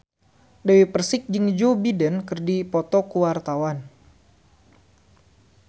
Dewi Persik jeung Joe Biden keur dipoto ku wartawan